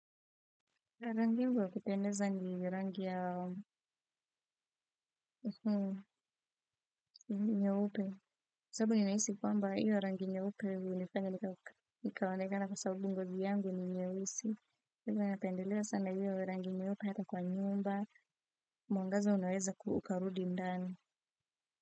Rangi yangu ya kupendeza ni rangi ya nyeupe sababu ninahisi kwamba iyo rangi nyeupe hunifanya nikaonekana kwa sababu ngozi yangu ni nyeusi kwaivo napendelea sana hiyo rangi nyeupe hata kwa nyumba mwangaza unaweza ku ukarudi ndan.